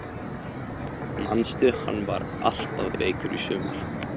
Manstu hann var alltaf veikur í sumar?